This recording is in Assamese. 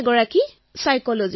মই এজন মনোবিদ